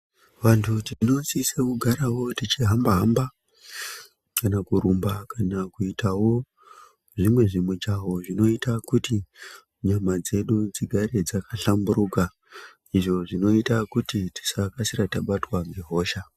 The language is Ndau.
Vantu tinosisira kugarawo tichihamba-hamba kana kurumba kana kuitawo zvimwe zvimijaho zvinoita kuti nyama dzedu dzigare dzakahlamburuka, izvo zvinoita kuti tisakasira tabatwa ngehosha.